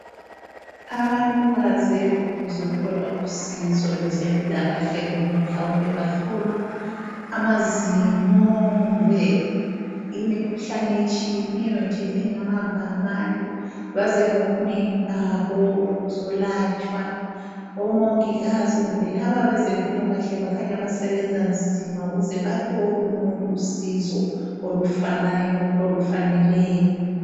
Abantu baze ukuzothola usizo lwezempilakahle kumbe mhlawumbe bahlolwa amazinyo kumbe imikhuhlane etshiyeneyo nje engabamba abantu. Baze ngobunengi babo ukuzolatshwa omongikazi kumbe laba abezempilakahle bakhanya basebenza nzima ukuze baphe wonke umuntu usizo olufanayo olufaneleyo.